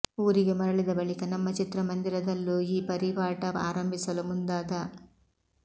ಊರಿಗೆ ಮರಳಿದ ಬಳಿಕ ನಮ್ಮ ಚಿತ್ರಮಂದಿರದಲ್ಲೂ ಈ ಪರಿಪಾಠ ಆರಂಭಿಸಲು ಮುಂದಾದ